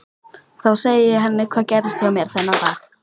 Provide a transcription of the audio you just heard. Þá segi ég henni hvað gerðist hjá mér þennan dag.